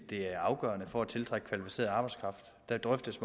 er afgørende for at tiltrække kvalificeret arbejdskraft der drøftes